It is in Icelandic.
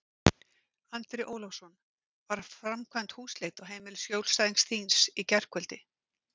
Andri Ólafsson: Var framkvæmd húsleit á heimili skjólstæðings þíns í gærkvöldi?